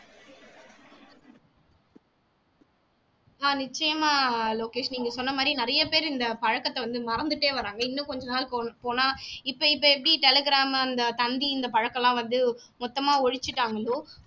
ஆஹ் நிச்சயமா லோகேஷ் நீங்க சொன்ன மாதிரி நிறைய பேர் இந்த பழக்கத்தை வந்து மறந்துட்டே வர்றாங்க இன்னும் கொஞ்ச நாள் போனால் இப்ப இப்ப எப்படி telegram அந்த தந்தி இந்த பழக்கம் எல்லாம் வந்து மொத்தமா ஒழிச்சுட்டாங்களோ